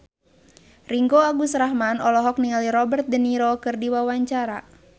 Ringgo Agus Rahman olohok ningali Robert de Niro keur diwawancara